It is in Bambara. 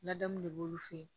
Ladamu de b'olu fe ye